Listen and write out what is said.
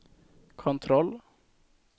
kontroll